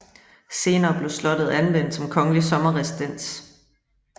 Senere blev slottet anvendt som kongelig sommerresidens